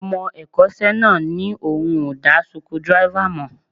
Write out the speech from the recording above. Ọmọ ẹ̀kọ́ṣẹ́ náà ní òun ò dá suku dírẹ́fà mọ̀